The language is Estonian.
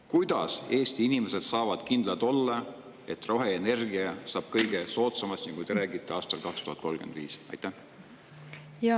Kuidas Eesti inimesed saavad kindlad olla, et roheenergia saab, nagu te räägite, aastal 2035 olema kõige soodsam?